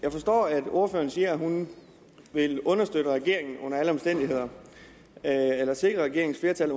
jeg forstår at ordføreren siger at hun under alle omstændigheder vil sikre regeringens flertal